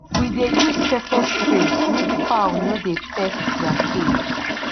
we dey use pepper spray make fowl no de dey peck their cage